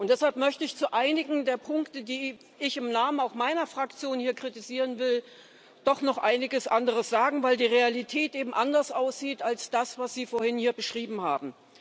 Und deshalb möchte ich zu einigen der Punkte, die ich auch im Namen meiner Fraktion hier kritisieren will, doch noch einiges andere sagen, weil die Realität eben anders aussieht als das, was Sie vorhin hier beschrieben haben.